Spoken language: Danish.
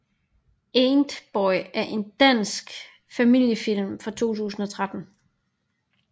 Antboy er en dansk familiefilm fra 2013